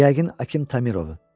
Yəqin Akim Tamirovu.